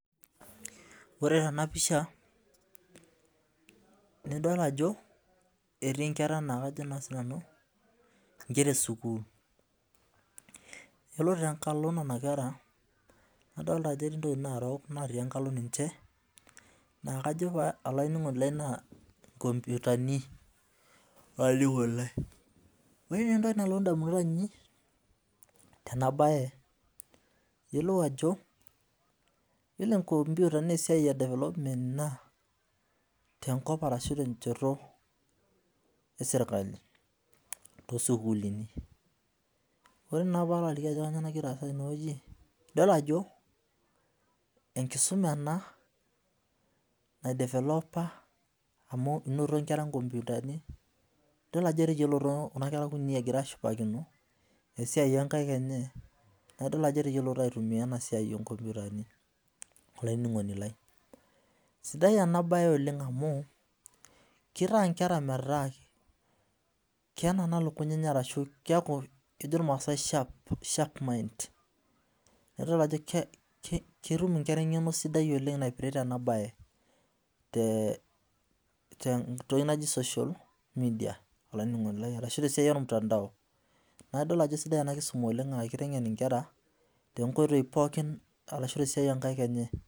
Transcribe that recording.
Ore enapisha nidol ajo etii nkera na kajo na sinanu nkera esukul yiolo tenkalo nona kera netii ntokitin narok na kajo nanu olaininingoni lai nkomputani ore entoki nalotu ndamunot ainei tenabae iyiolo enkomputa na esiai e development ina tenkop aahu tenchoto eserkali tosukulini ore naa palo aliki ajo kanyio nagira aasa tene na enkisuma ena amu inoto nkera nkomputani idol ajo inotito nkera kutitik egira ashipakino esiai onkaik enye na. Kitadolu ajo etayiolito aitumia enasia onkomputani sidai enabae oleng amu kitaa nkera nkera metaa kenanan lukuny ketum nkera engeno sidai naipirta enabae tentoki naji social media olaininingoni lai tentoki naji ormutandao nai idol ajo kesidai enakisuma oleng amu kitengen nkera tonkoitoi pooki ashu tesiai onkaik enye.